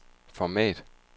format